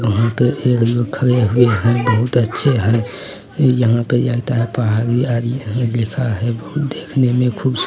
वहाँ पे एक लोग खड़े हुए हैं बहुत अच्छे हैं यहाँ पे यह आता है पहाड़ी-व्हाड़ी यहाँ लिखा है बहुत देखने में खूब --